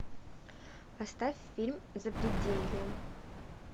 поставь фильм запределье